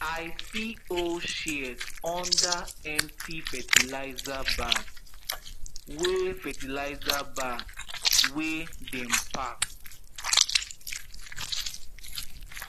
i see old shears under empty fertilizer bag wey fertilizer bag wey dem pack